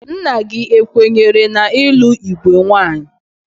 Nna gị ekwenyere n ịlụ igwe nwaanyị?